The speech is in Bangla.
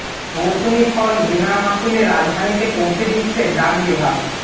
মৌসুমি ফল বিনা মাশুলে রাজধানীতে পৌঁছে দিচ্ছে ডাক বিভাগ